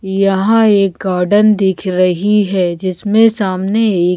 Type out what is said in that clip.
यहाँ एक गार्डन दिख रही है जिसमें सामने एक--